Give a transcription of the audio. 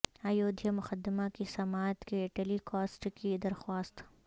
ایودھیا مقدمہ کی سماعت کے ٹیلی کاسٹ کی درخواست